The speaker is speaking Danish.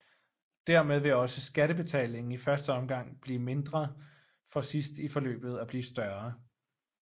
Dermed vil også skattebetalingen i første omgang blive mindre for sidst i forløbet at blive større